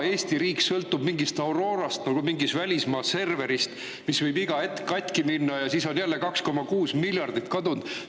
Eesti riik sõltub mingist Aurorast, mingist välismaa serverist, mis võib iga hetk katki minna ja siis on jälle 2,6 miljardit kadunud.